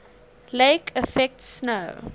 lake effect snow